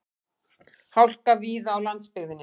Hálka víða á landsbyggðinni